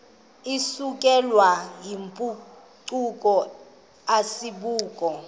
isukelwayo yimpucuko asibubo